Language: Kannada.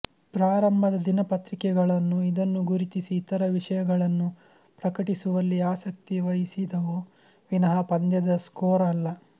ಪ್ರಾರಂಭದ ದಿನಪತ್ರಿಕೆಗಳನ್ನು ಇದನ್ನು ಗುರುತಿಸಿ ಇತರ ವಿಷಯಗಳನ್ನು ಪ್ರಕಟಿಸುವಲ್ಲಿ ಆಸಕ್ತಿ ವಹಿಸಿದವು ವಿನಃ ಪಂದ್ಯದ ಸ್ಕೋರ್ ಅಲ್ಲ